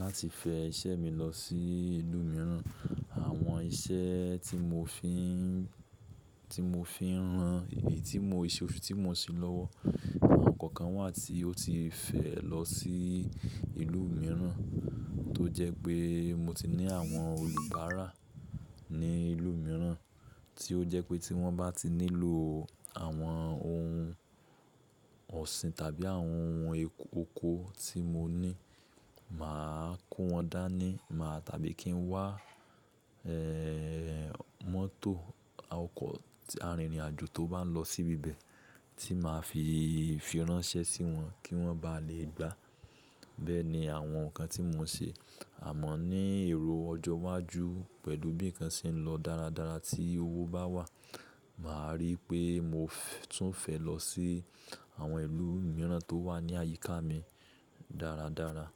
láti fẹ iṣẹ́ mi lọ sí ìlú mìíràn. Àwọn iṣẹ́ tí mo fi n, tí mo fi ń ran, èyí tí mo, iṣẹ́ òfin tí mo ń ṣe lọ́wọ́, àwọn nǹkan kan wà tí ó ti fẹ lọ sí ìlú mìíràn, tó jẹ́ pé mo ti ní àwọn olùbárà ní ìlú mìíràn, tí ó jẹ́ pé tí wọ́n bá ti nílò àwọn ohun ọ̀sìn tàbí àwọn ohun oko tí mo ní, mà á kó wọn dání, mà á tàbí kí n wá, ẹ́ẹ́ mọ́tò, ọkọ̀ arìnrìn àjò tó bá ń lọ sí bi ibẹ̀ tí mà á fi fi ránṣẹ́ sí wọn kí wọ́n bá lè gbà. Bẹ́ẹ̀ni àwọn nǹkan tí mo ń ṣe, àmọ́ ní èrò ọjọ́ iwájú pẹ̀lú bí i nǹkan ṣe ń lọ dáradára tí owó bá wà, mà á rí pé mo tún fẹ́ lọ sí àwọn ìlú mìíràn tó wà ní àyíká mi dáradára.